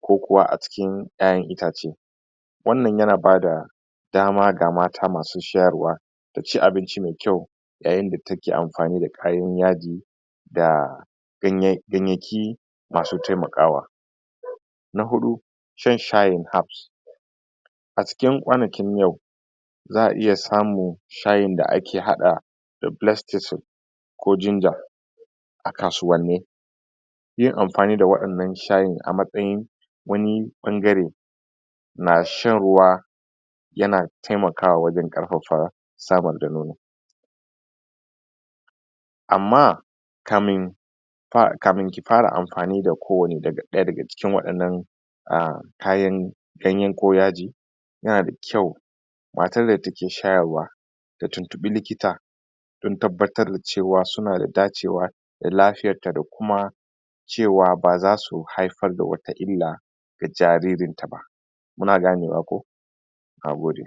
ko kuwa a cikin yayan itace wan nan ya na bada dama ga mata masu shayarwa ta ci abinci mai kyau yayin da take anfani da kayan yaji da ganya.. ganyaki masu taimakawa na hudu shan shayin hafs a cikin kwanakin yau za a iya samun shayin da ake hada rifilectisin ko jinja a kasuwan ni yin anfani da wayan nan shayin a matsayin wani bangare na shan ruwa yana taimakawa wajen farfafa samar da nono amma kamin kamin ki fara anfani da ko wan ne daga cikin wayan nan ah kayan ganye ko yaji yana da kyau matan da take shayarwa ta tuntubi likita sun tabbatar da cewa suna da dacewa dan lafiyan ta da kuma cewa ba za su haifar da wata illa ga jaririn ta ba muna gane wa ko na gode